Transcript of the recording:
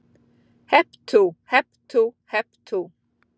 Hep tú, hep tú, hep tú.